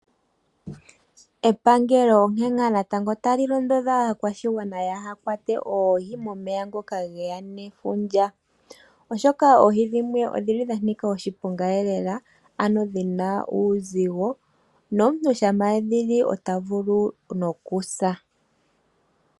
Epangelo onkene ngaa natango tali londodha aakwashigwana kaya kwate oohi momeya ngoka geya nefundja, oshoka oohi dhimwe odhili dhanika oshiponga lela ano dhina uuzigo, nomuntu shampa edhi li ota vulu nokusa.